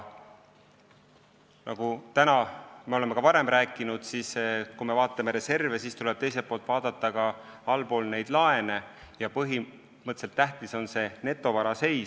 Ja me oleme ka varem rääkinud, et kui me vaatame reserve, siis tuleb teiselt poolt vaadata laene ja tähtis on netovara seis.